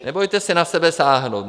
Nebojte se na sebe sáhnout.